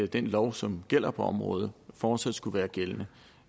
den lov som gjaldt på området fortsat skulle være gældende